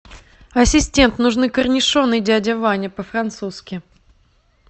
ассистент нужны корнишоны дядя ваня по французски